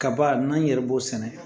Kaba n'an yɛrɛ b'o sɛnɛ